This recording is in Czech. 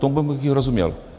Tomu bych i rozuměl.